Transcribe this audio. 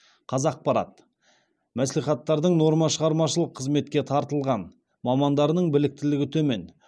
қазақпарат мәслихаттардың нормашығармашылық қызметке тартылған мамандарының біліктілігі төмен